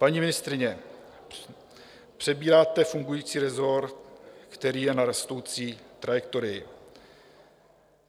Paní ministryně, přebíráte fungující resort, který je na rostoucí trajektorii.